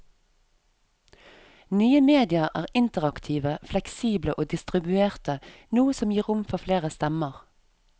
Nye medier er interaktive, fleksible og distribuerte, noe som gir rom for flere stemmer.